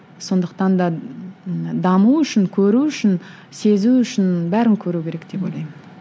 сондықтан да ы даму үшін көру үшін сезу үшін бәрін көру керек деп ойлаймын